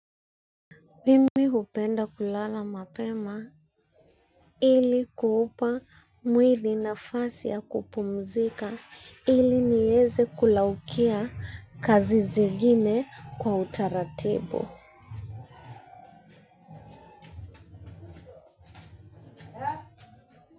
Mimi hupenda kulala mapema ili kuupa mwili nafasi ya kupumzika ili nieze kulaukia kazi zingine kwa utaratibu.